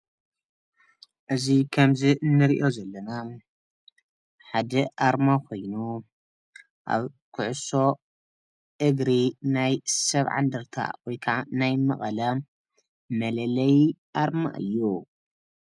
እዚ ከምዚ ንሪኦ ዘለና ሓደ ኣርማ ኮይኑ ኣብ ኩዕሶ እግሪ ናይ ሰባዓ እንደርታ ወይ ከዓ ናይ መቀለ መለለዪ ኣርማ እዩ።